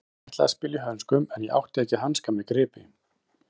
Ég ætlaði að spila í hönskum en ég átti ekki hanska með gripi.